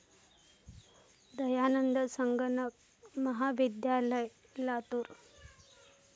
दयानंद संगणक महाविद्यालय, लातूर